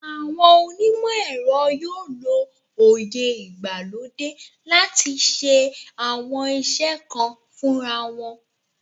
Àwọn onímọ̀ ẹ̀rọ yóò lo òye ìgbàlódé láti ṣe àwọn iṣẹ́ kan fúnra wọn